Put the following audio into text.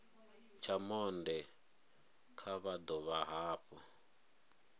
tsha monde vha dovha hafhu